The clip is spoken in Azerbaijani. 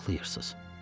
Niyə ağlayırsınız?